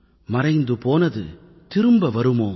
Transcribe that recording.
மறைந்து போனது திரும்ப வருமோ